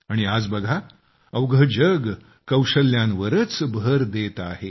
आणि आज बघा अवघे जग कौशल्यांवरच भर देते आहे